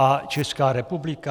A Česká republika?